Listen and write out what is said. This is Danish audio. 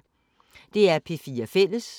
DR P4 Fælles